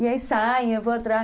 E aí saem, eu vou atrás.